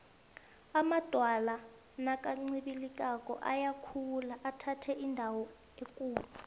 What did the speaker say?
amadwala nakancibilikako ayakhula athathe indawo ekulu